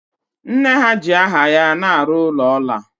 Nne ha ji aha ya na-arụ ụlọ ọla